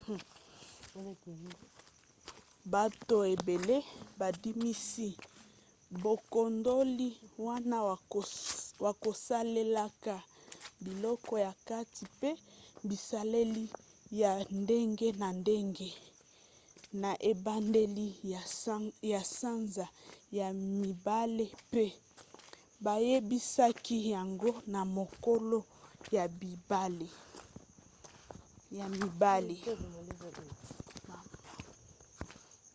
bato ebele bandimisi bokundoli wana na kosalelaka biloko ya kati mpe bisaleli ya ndenge na ndenge na ebandeli ya sanza ya mibale pe bayebisaki yango na mokolo ya mibale